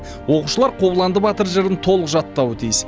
оқушылар қобыланды батыр жырын толық жаттауы тиіс